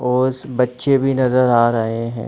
और बच्चे भी नज़र आ रहे है।